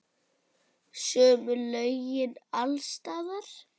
Sömu lögin alls staðar.